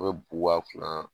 An be bu k'a kunna